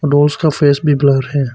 Dolls का face भी blur है।